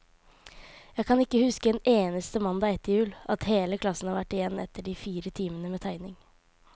Jeg kan ikke huske en eneste mandag etter jul, at hele klassen har vært igjen etter de fire timene med tegning.